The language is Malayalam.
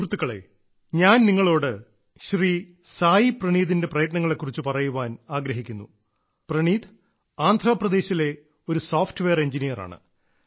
സുഹൃത്തുക്കളെ ഞാൻ നിങ്ങളോട് ശ്രീ സായി പ്രണീതിന്റെ പ്രയത്നങ്ങളെ കുറിച്ച് പറയാൻ ആഗ്രഹിക്കുന്നു പ്രണീത് ആന്ധ്രാപ്രദേശിലെ ഒരു സോഫ്റ്റ്വെയർ എൻജിനീയറാണ്